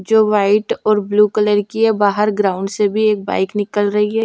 जो व्हाइट और blue colour की है बाहर ग्राउंड से भी एक बाइक निकल रही है।